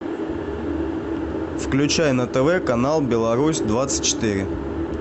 включай на тв канал беларусь двадцать четыре